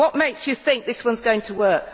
What makes you think this one is going to work?